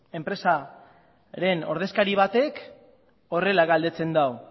enpresaren ordezkari batek horrela galdetzen du